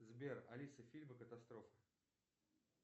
сбер алиса фильмы катастрофы